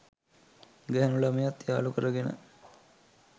ගැණු ළමයත් යාළු කරගෙන